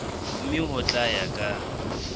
mme ho tla ya ka